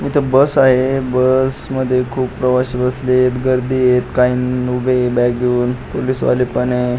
इथ बस आहे बस मध्ये खुप सारे प्रवासी बसले आहेत गर्दी आहे काही उभे आहेत बॅग घेऊन पोलिस वाले पण आहेत.